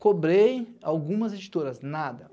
Cobrei algumas editoras, nada.